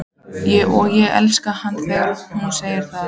Og ég elska hana þegar hún segir það.